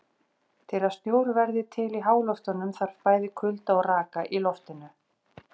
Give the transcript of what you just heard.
Til að snjór verði til í háloftunum þarf bæði kulda og raka í loftinu.